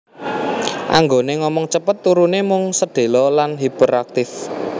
Anggone ngomong cepet turune mung sedhela lan hiperaktif